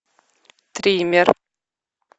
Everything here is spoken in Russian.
триммер